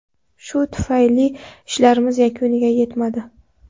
Shu tufayli ishlarimiz yakuniga yetmadi.